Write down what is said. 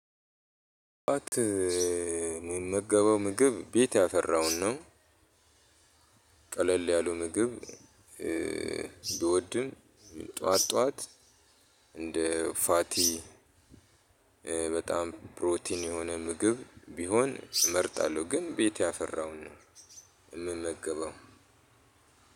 ጣት የምመገበው ምግብ ቤት ያፈራውን ነው። ቀለል ያሉ ምግብ ብወድም ጠዋት ጠዋት እንደ ፋቲ በጣም ፕሮቲን የሆነ ምግብ ቢሆን እመርጣለሁ። ግን ቤቴ ያፈራው ነው። የምመገበው